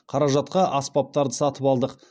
қаражатқа аспаптарды сатып алдық